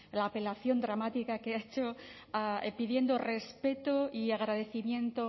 la apelación dramática que ha hecho pidiendo respeto y agradecimiento